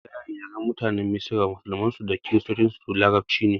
Mafi rinjayen yaren mutanen misra musulmin su da kiristoci larabci ne